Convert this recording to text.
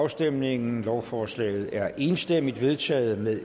afstemningen lovforslaget er enstemmigt vedtaget med